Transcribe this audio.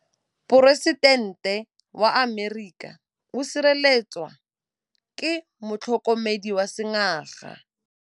Poresitêntê wa Amerika o sireletswa ke motlhokomedi wa sengaga.